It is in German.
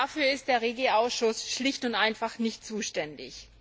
Dafür ist der REGI Ausschuss schlicht und einfach nicht zuständig.